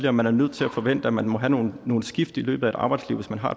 at man er nødt til at forvente at man må have nogle nogle skift i løbet af et arbejdsliv hvis man har